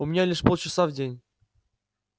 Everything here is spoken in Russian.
у меня лишь полчаса в день